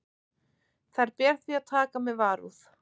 Þær ber því að taka með varúð.